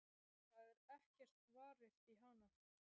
Það er ekkert varið í hana.